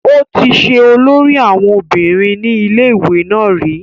ó ti ṣe olórí àwọn obìnrin ní ilé ìwé náà rí